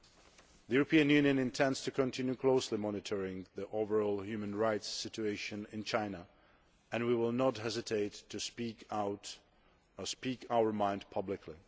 The European Union intends to continue closely monitoring the overall human rights situation in China, and we will not hesitate to speak our mind publicly.